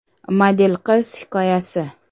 Model qiz hikoyasi.